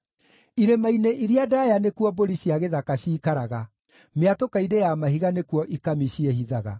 Irĩma-inĩ iria ndaaya nĩkuo mbũri cia gĩthaka ciikaraga; mĩatũka-inĩ ya mahiga nĩkuo ikami ciĩhithaga.